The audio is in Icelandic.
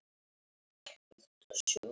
Sumar kemur bráðum.